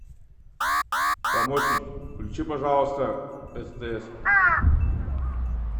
помощник включи пожалуйста стс